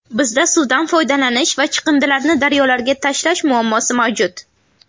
Bizda suvdan foydalanish va chiqindilarni daryolarga tashlash muammosi mavjud.